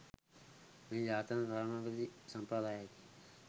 මෙය ජාත්‍යන්තර තානාපති සම්ප්‍රදායයක